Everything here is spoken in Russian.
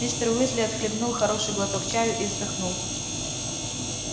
мистер уизли отхлебнул хороший глоток чаю и вздохнул